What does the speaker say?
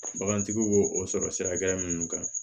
Bagantigi bo o sɔrɔ sira minnu kan